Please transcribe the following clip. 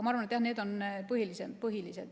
Ma arvan, jah, et need on põhilised.